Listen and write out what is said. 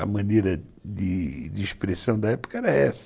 A maneira de expressão da época era essa.